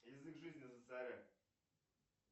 язык жизни за царя